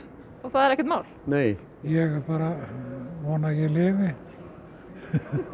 og það er ekkert mál nei ég bara vona að ég lifi